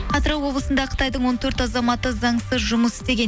атырау облысында қытайдың он төрт азаматы заңсыз жұмыс істеген